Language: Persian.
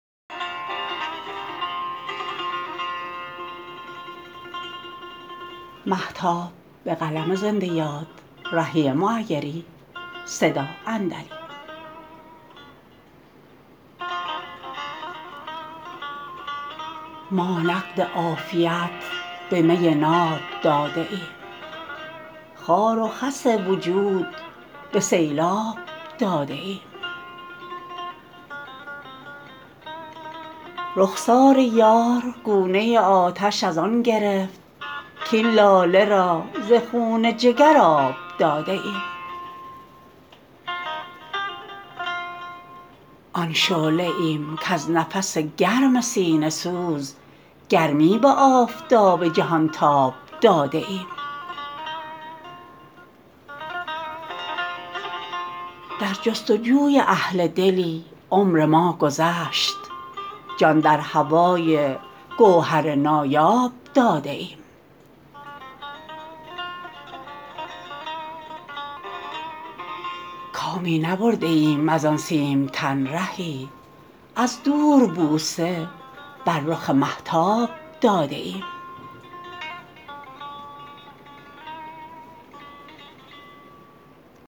ما نقد عافیت به می ناب داده ایم خار و خس وجود به سیلاب داده ایم رخسار یار گونه آتش از آن گرفت کاین لاله را ز خون جگر آب داده ایم آن شعله ایم کز نفس گرم سینه سوز گرمی به آفتاب جهان تاب داده ایم در جستجوی اهل دلی عمر ما گذشت جان در هوای گوهر نایاب داده ایم کامی نبرده ایم از آن سیم تن رهی از دور بوسه بر رخ مهتاب داده ایم